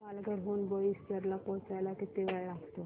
पालघर हून बोईसर ला पोहचायला किती वेळ लागतो